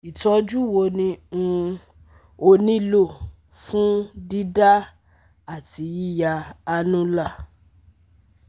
Itọju wo ni um o nilo fun dida ati yiya annular?